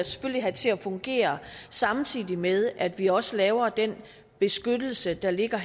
selvfølgelig have til at fungere samtidig med at vi også laver den beskyttelse der ligger